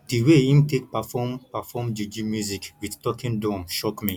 di way im take perform perform juju music wit talking drum shock me